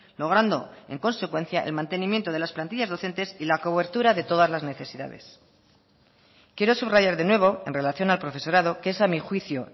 logrando en consecuencia el mantenimiento de las plantillas docentes y la cobertura de todas las necesidades quiero subrayar de nuevo en relación al profesorado que es a mi juicio